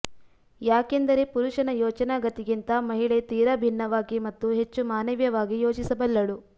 ಯಾಕೆಂದರೆ ಪುರುಷನ ಯೋಚನಾ ಗತಿಗಿಂತ ಮಹಿಳೆ ತೀರಾ ಭಿನ್ನವಾಗಿ ಮತ್ತು ಹೆಚ್ಚು ಮಾನವೀಯವಾಗಿ ಯೋಚಿಸಬಲ್ಲಳು